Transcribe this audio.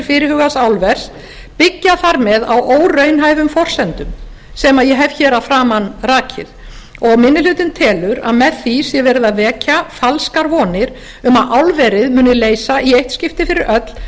fyrirhugaðs álvers byggja þar með á óraunhæfum forsendum sem ég hef hér að framan rakið og minni hlutinn telur að með því sé verið að vekja falskar vonir um að álverið muni leysa í eitt skipti fyrir öll